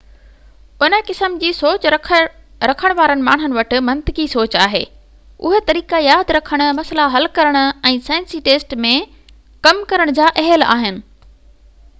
ان قسم جي سوچ رکڻ وارن ماڻهن وٽ منطقي سوچ آهي اهي طريقا ياد رکڻ مسئلا حل ڪرڻ ۽ سائنسي ٽيسٽ ۾ ڪم ڪرڻ جي اهل آهن